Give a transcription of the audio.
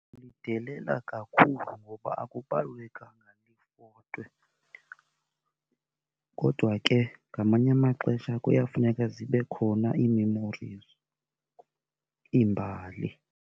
Lidelela kakhulu ngoba akubalulekanga lifotwe. Kodwa ke ngamanye amaxesha kuyafuneka zibe khona i-memories, iimbali.